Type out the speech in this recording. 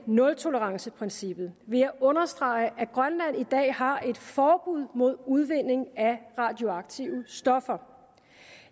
nultoleranceprincippet vil jeg understrege at grønland i dag har et forbud mod udvinding af radioaktive stoffer